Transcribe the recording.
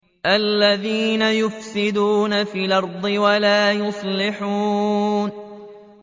الَّذِينَ يُفْسِدُونَ فِي الْأَرْضِ وَلَا يُصْلِحُونَ